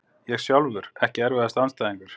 Ég sjálfur Ekki erfiðasti andstæðingur?